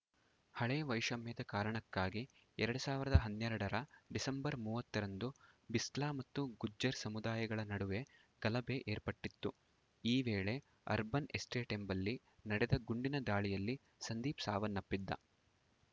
ಹಳೇ ವೈಷಮ್ಯದ ಕಾರಣಕ್ಕಾಗಿ ಎರಡ್ ಸಾವಿರದ ಹನ್ನೆರಡರ ಡಿಸೆಂಬರ್‌ ಮೂವತ್ತರಂದು ಬಿಸ್ಲಾ ಮತ್ತು ಗುಜ್ಜರ್‌ ಸಮುದಾಯಗಳ ನಡುವೆ ಗಲಭೆ ಏರ್ಪಟ್ಟಿತ್ತು ಈ ವೇಳೆ ಅರ್ಬನ್‌ ಎಸ್ಟೇಟ್‌ ಎಂಬಲ್ಲಿ ನಡೆದ ಗುಂಡಿನ ದಾಳಿಯಲ್ಲಿ ಸಂದೀಪ್‌ ಸಾವನ್ನಪ್ಪಿದ್ದ